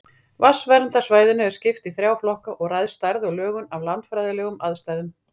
Vatnsverndarsvæðinu er skipt í þrjá flokka og ræðst stærð og lögun af landfræðilegum aðstæðum.